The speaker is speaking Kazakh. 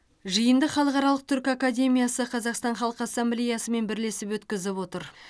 жиынды халықаралық түрк академиясы қазақстан халқы ассамблеясымен бірлесіп өткізіп отыр